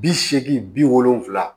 Bi seegin bi wolonvila